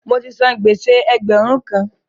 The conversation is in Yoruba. Mo ti san gbèsè ẹgbẹ̀rún kan.